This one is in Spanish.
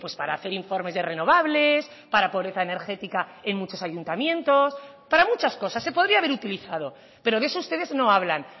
para hacer informes de renovables para pobreza energética en muchos ayuntamientos para muchas cosas se podría haber utilizado pero de eso ustedes no hablan